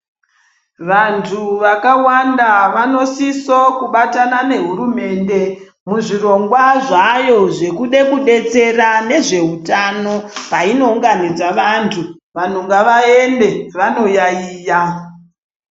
Vantu vakawanda vanosisa kubatana nehurumende muzvirongwa zvayo zvekuda kudetsera nezvehutano painounganidza vantu vanhu ngavaende vanoyaiya.